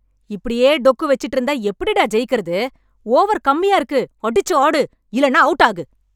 இப்படியே டொக்கு வெச்சிட்டு இருந்தா எப்படி டா ஜெயிக்கறது? ஓவர் கம்மியா இருக்கு. அடிச்சு ஆடு, இல்லன்னா அவுட் ஆகு!